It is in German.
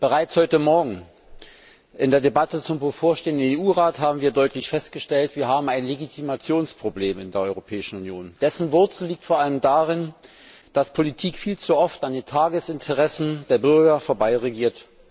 Bereits heute Morgen in der Debatte zum bevorstehenden Europäischen Rat haben wir deutlich festgestellt, dass wir ein Legitimationsproblem in der Europäischen Union haben. Dessen Wurzel liegt vor allem darin, dass Politik viel zu oft an den Tagesinteressen der Bürger vorbeiregiert.